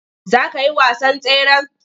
Za ka yi wasan tseren?